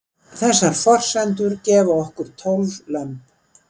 þessar forsendur gefa okkur tólf lömb